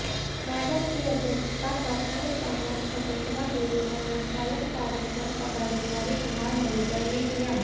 बैठक की अध्यक्षता प्रखंड प्रमुख शकुंतला देवी व संचालन कार्यक्रम पदाधिकारी कुमार मधुकर ने किया